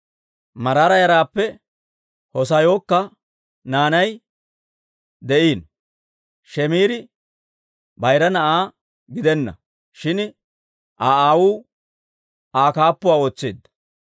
Maraara yaraappe Hoosayyookka naanay de'iino. Shiimiri bayira na'aa gidenna; shin Aa aawuu Aa kaappuuwaa ootseedda.